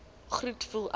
groet voel ek